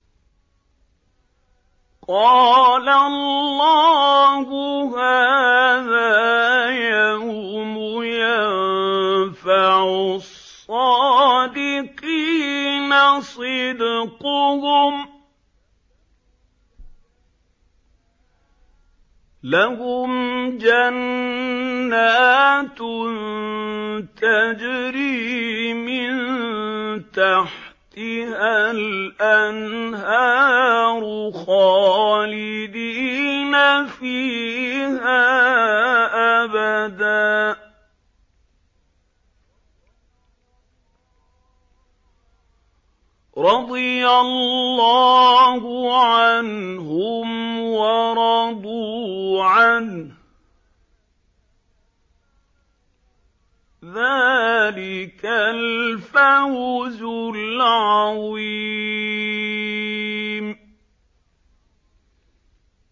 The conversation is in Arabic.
قَالَ اللَّهُ هَٰذَا يَوْمُ يَنفَعُ الصَّادِقِينَ صِدْقُهُمْ ۚ لَهُمْ جَنَّاتٌ تَجْرِي مِن تَحْتِهَا الْأَنْهَارُ خَالِدِينَ فِيهَا أَبَدًا ۚ رَّضِيَ اللَّهُ عَنْهُمْ وَرَضُوا عَنْهُ ۚ ذَٰلِكَ الْفَوْزُ الْعَظِيمُ